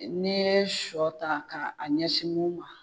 N'i ye sɔ ta a ɲɛsin